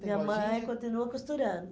Minha mãe continua costurando. Tem a lojinha?